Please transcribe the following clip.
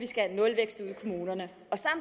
skal jeg